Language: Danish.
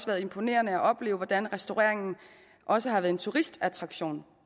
været imponerende at opleve hvordan restaureringen også har været en turistattraktion